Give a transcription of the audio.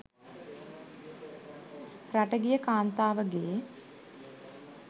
රට ගිය කාන්තාවගේ